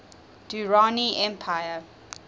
durrani empire